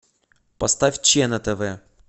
поставь че на тв